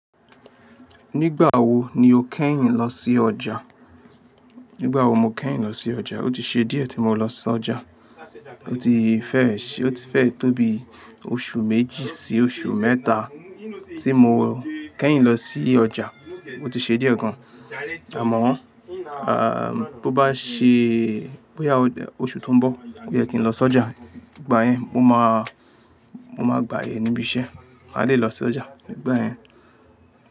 Nígbà wo ni o kẹ́yìn lọ sí ọjà? Nígbà wo mo kẹ́yìn lọ sí ọjà? O ti ṣe díẹ̀ tí mo lọ sí ọjà. O ti fẹ́ẹ, o ti fẹ́ẹ tóbi oṣù méjì sí oṣù mẹ́ta tí mo kẹ́yìn lọ sí ọjà. O ti ṣe díẹ̀ gan. Àmọ́, ah, bó bá ṣe, bóyá oṣù tó ń bọ̀ o ye kí n lọ sí ọjà. Igba yẹn mo máa, mo máa gbàyè níbi iṣẹ́. Máa lè lọ sí ọjà nígbà yẹn.